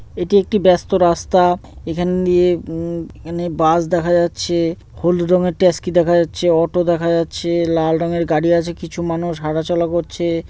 এটি একটি ব্যাস্ত রাস্তা। এখানে দিয়ে উমম এখানে বাস দেখা যাচ্ছে হলুদ রঙের ট্যাসকি দেখা যাচ্ছে অটো দেখা যাচ্ছে লাল রঙের গাড়ি আছে কিছু মানুষ হাঁটাচলা করছে ।